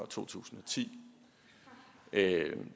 to tusind og ti